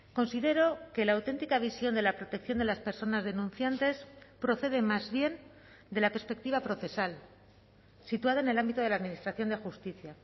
considero que la auténtica visión de la protección de las personas denunciantes procede más bien de la perspectiva procesal situada en el ámbito de la administración de justicia